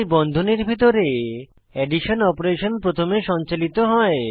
তাই বন্ধনীর ভিতরের এডিশন অপারেশন প্রথমে সঞ্চালিত হয়